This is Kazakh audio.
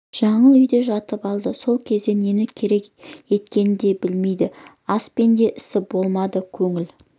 жаңыл үйде жатып алды сол кезде нені қорек еткенін де білмейді аспен де ісі болмады көңіл